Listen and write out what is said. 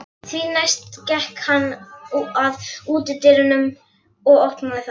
Því næst gekk hann að útidyrunum og opnaði þær.